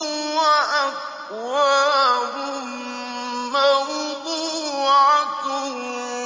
وَأَكْوَابٌ مَّوْضُوعَةٌ